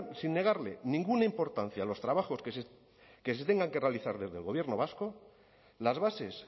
sin negarle ninguna importancia a los trabajos que se tengan que realizar desde el gobierno vasco las bases